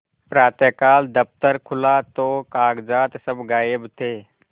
प्रातःकाल दफ्तर खुला तो कागजात सब गायब थे